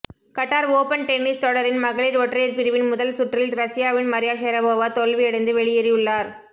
Khattar open tennis தொடரின் மகளிர் ஒற்றையர் பிரிவின் முதல் சுற்றில் ரஸ்யாவின் மரியா ஷரபோவா தோல்வியடைந்து வெளியேறியுள்ளார்